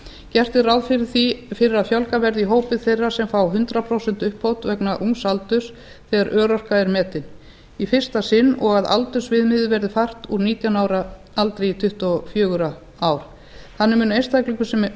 gert er ráð fyrir að fjölgað verði í hópi þeirra sem fá hundrað prósent uppbót vegna ungs aldurs þegar örorka er metin í fyrsta sinn og að aldursviðmiðið verði fært úr nítján ára aldri í tuttugu og fjögur ár þannig mun einstaklingur sem